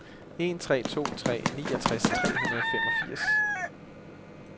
en tre to tre niogtres tre hundrede og femogfirs